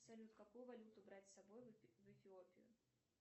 салют какую валюту брать с собой в эфиопию